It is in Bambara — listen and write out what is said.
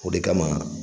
O de kama